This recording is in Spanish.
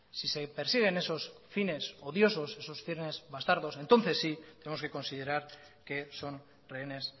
si se persiguen esos fines odiosos esos fines bastardos entonces sí tenemos que considerar que son rehenes